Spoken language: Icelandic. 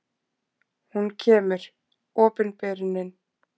Hún kemur: opinberunin.